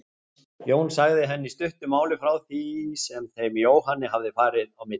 Jón sagði henni í stuttu máli frá því sem þeim Jóhanni hafði farið á milli.